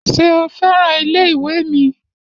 Ṣé o fẹ́ràn ilé ìwé mi?